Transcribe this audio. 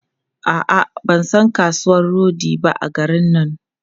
A'a, ban san kasuwan rodi ba a garin nan.